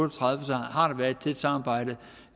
og tredive har der været et tæt samarbejde